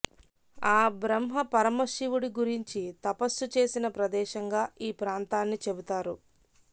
ఆ బ్రహ్మ పరమశివుడి గురించి తపస్సు చేసిన ప్రదేశంగా ఈ ప్రాంతాన్ని చెబుతారు